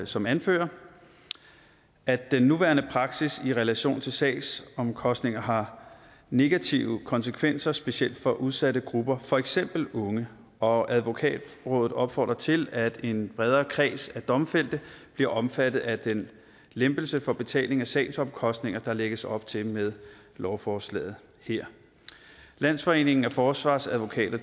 som anfører at den nuværende praksis i relation til sagsomkostninger har negative konsekvenser specielt for udsatte grupper for eksempel unge og advokatrådet opfordrer til at en bredere kreds af domfældte bliver omfattet af den lempelse for betaling af sagsomkostningerne der lægges op til med lovforslaget her landsforeningen af forsvarsadvokater